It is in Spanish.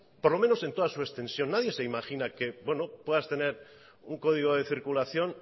por lo menos en toda su extensión nadie se imagina que puedas tener un código de circulación